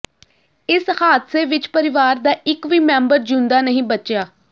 ਇਸ ਹਾਦਸੇ ਵਿਚ ਪਰਿਵਾਰ ਦਾ ਇਕ ਵੀ ਮੈਬਰ ਜਿਊਦਾ ਨਹੀ ਬਚਿਆ